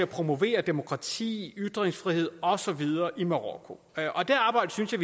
promovere demokrati ytringsfrihed og så videre i marokko det arbejde synes jeg